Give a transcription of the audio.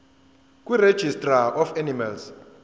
kuregistrar of animals